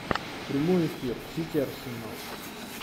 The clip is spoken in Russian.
прямой эфир сити арсенал